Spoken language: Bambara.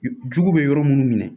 Jugu bɛ yɔrɔ minnu minɛ